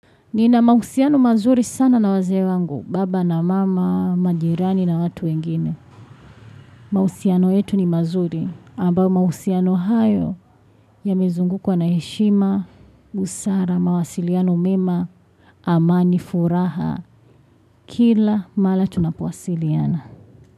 Nina mahusiano mazuri sana na wazee wangu, baba na mama, majirani na watu wengine. Mahusiano yetu ni mazuri, ambao mausiano hayo yamezungukwa na heshima, busara, mawasiliano mema, amani, furaha, kila mara tunapowasiliana.